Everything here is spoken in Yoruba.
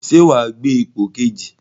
Ṣé wàá gbé ipò kejì?